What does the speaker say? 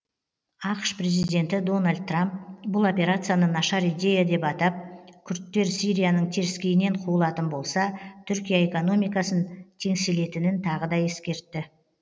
ақш президенті дональд трамп бұл операцияны нашар идея деп атап күрдтер сирияның теріскейінен қуылатын болса түркия экономикасын теңселтетінін тағы да ескертті